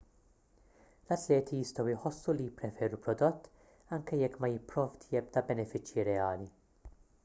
l-atleti jistgħu jħossu li jippreferu prodott anke jekk ma jipprovdi ebda benefiċċji reali